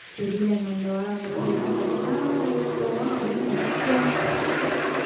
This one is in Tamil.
தெரியலே இன்னும் இந்த வாரம் வந்தாதான் தெரியும் ஏன்னா கதிர்தான் வெளியிலே போவான் அப்படின்னு நினைக்கிறேன்